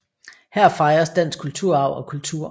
Her fejres dansk kulturarv og kultur